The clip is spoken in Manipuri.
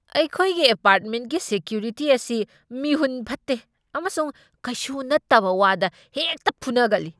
ꯑꯩꯈꯣꯏꯒꯤ ꯑꯦꯄꯥꯔꯠꯃꯦꯟꯠꯀꯤ ꯁꯦꯀ꯭ꯌꯨꯔꯤꯇꯤ ꯑꯁꯤ ꯃꯤꯍꯨꯟ ꯐꯠꯇꯦ ꯑꯃꯁꯨꯡ ꯀꯩꯁꯨ ꯅꯠꯇꯕ ꯋꯥꯗ ꯍꯦꯛꯇ ꯐꯨꯅꯒꯜꯂꯤ꯫